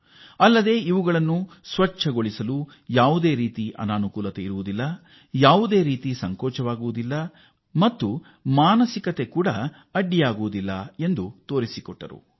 ಇದರಿಂದ ಯಾವುದೇ ಅನಾನುಕೂಲ ಅಥವಾ ಅದನ್ನು ಬರಿದು ಮಾಡುವಲ್ಲಿ ಅಥವಾ ಈ ಶೌಚಾಲಯ ಶುಚಿಗೊಳಿಸುವಲ್ಲಿ ಯಾವುದೇ ಅಡೆತಡೆ ಇಲ್ಲ ಅಥವಾ ಯಾವುದೇ ಮಾನಸಿಕ ಅಡ್ಡಿ ಆತಂಕಗಳು ಅಡ್ಡ ಬರುವುದಿಲ್ಲ ಎಂಬುದನ್ನು ನಿರೂಪಿಸಲಾಯಿತು